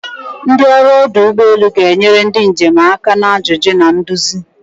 Ndị ọrụ ọdụ ụgbọ elu ga-enyere ndị njem aka na ajụjụ na nduzi.